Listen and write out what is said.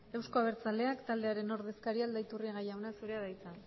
euzko abertzaleak taldearen ordezkaria aldaiturriaga jauna zurea da hitza